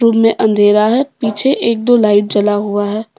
Room में अंधेरा है पीछे एक दो लाइट जला हुआ है।